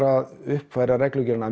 að uppfæra reglugerðina